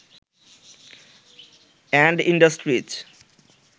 and industries